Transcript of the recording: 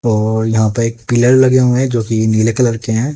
और यहां पे एक पिलर लगे हुए हैं जो कि नीले कलर के हैं।